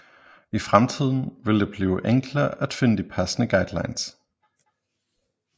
I fremtiden vil det blive enklere at finde de passende guidelines